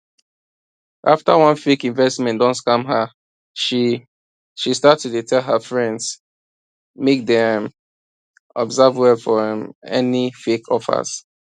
after one fake investment don scam her she she start to dey tell her friends make dem um observe well for um any fake offers